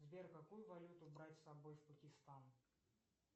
сбер какую валюту брать с собой в пакистан